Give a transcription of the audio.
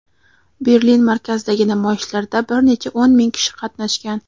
Berlin markazidagi namoyishlarda bir necha o‘n ming kishi qatnashgan.